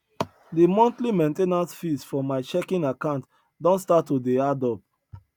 de monthly main ten ance fees for my checking account don start to dey add up